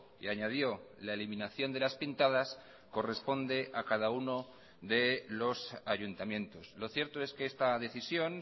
y añadió la eliminación de las pintadas corresponde a cada uno de los ayuntamientos lo cierto es que esta decisión